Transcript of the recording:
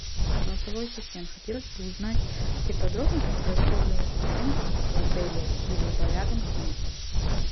голосовой ассистент хотелось бы узнать все подробности про использование шезлонгов в отеле либо рядом с ним